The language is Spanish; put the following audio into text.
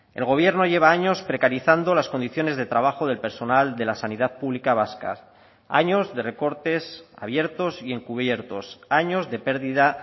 el gobierno lleva años precarizando las condiciones de trabajo del personal de la sanidad pública vasca años de recortes abiertos y encubiertos años de pérdida